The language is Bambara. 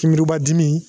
Kinburuba dimi